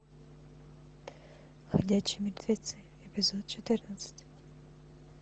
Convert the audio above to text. ходячие мертвецы эпизод четырнадцать